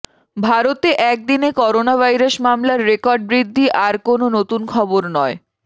ভারতে একদিনে করোনাভাইরাস মামলার রেকর্ড বৃদ্ধি আর কোনও নতুন খবর নয়